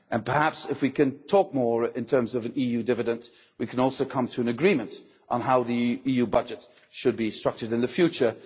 Perhaps if we can talk more in terms of EU dividends we can also come to an agreement on how the EU budget should be structured in the future.